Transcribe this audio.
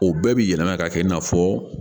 O bɛɛ bi yɛlɛma ka kɛ i n'a fɔ